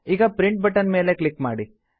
ಈಗ print button ಮೇಲೆ click ಮಾಡಿ